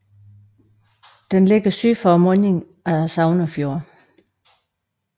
Den ligger syd for mundingen af Sognefjorden